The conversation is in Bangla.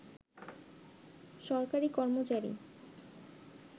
সরকারি কর্মচারী